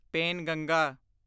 Penganga